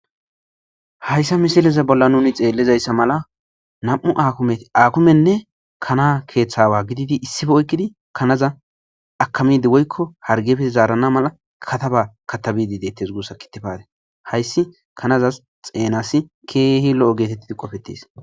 Hayssa missileza bolla nuni xellizayssa malla nam'u hakimetine kanay keththa awa gididi issipe oykkidi kanaza hargeppe zarana malla kataba katabidi dettes gussa kitifate haysi kanazas xenazas kehi lo'o gettetdi qoffetes.